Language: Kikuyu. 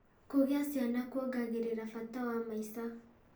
Kũgĩa ciana kuongagĩrĩra bata wa maica.